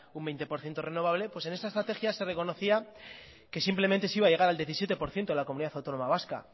un veinte por ciento renovable pues en esta estrategia se reconocía que simplemente se iba a llegar al diecisiete por ciento de la comunidad autónoma vasca